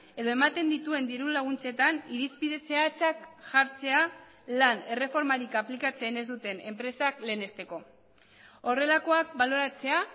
edo ematen dituen diru laguntzetan irizpide zehatzak jartzea lan erreformarik aplikatzen ez duten enpresak lehenesteko horrelakoak baloratzea